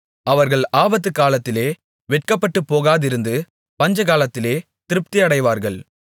அவர்கள் ஆபத்துக்காலத்திலே வெட்கப்பட்டுப்போகாதிருந்து பஞ்சகாலத்திலே திருப்தியடைவார்கள்